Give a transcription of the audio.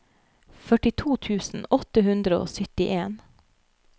førtito tusen åtte hundre og syttien